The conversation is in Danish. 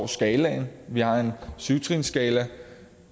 skalaen vi har en syv trinsskala